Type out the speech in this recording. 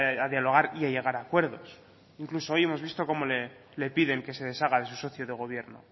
a dialogar y a llegar a acuerdos incluso hoy hemos visto cómo le piden que se deshaga de su socio de gobierno